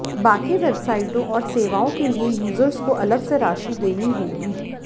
बाकी वेबसाइटों और सेवाओं के लिए यूजर्स को अलग से राशि देनी होगी